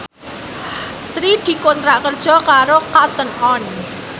Sri dikontrak kerja karo Cotton On